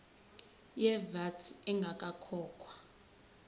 ye vat ingakakhokhwa